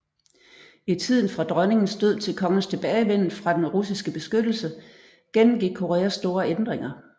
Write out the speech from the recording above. I tiden fra dronningens død til kongens tilbagevenden fra den russiske beskyttelse gennemgik Korea store ændringer